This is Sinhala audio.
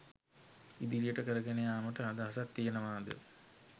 ඉදිරියට කරගෙන යාමට අදහසක් තියෙනවාද?